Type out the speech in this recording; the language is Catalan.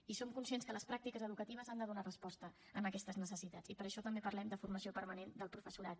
i som conscients que les pràctiques educatives han de donar resposta a aquestes necessitats i per això també parlem de formació permanent del professorat